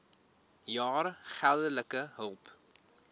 jaar geldelike hulp